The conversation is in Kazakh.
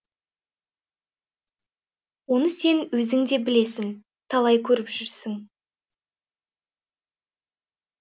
оны сен өзің де білесің талай көріп жүрсің